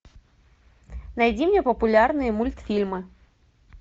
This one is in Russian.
найди мне популярные мультфильмы